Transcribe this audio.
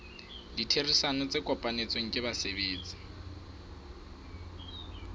ditherisano tse kopanetsweng ke basebetsi